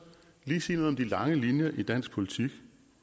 lige sige noget om de lange linjer i dansk politik